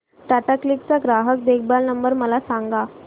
Tata Cliq चा ग्राहक देखभाल नंबर मला सांगा